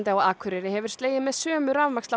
á Akureyri hefur slegið með sömu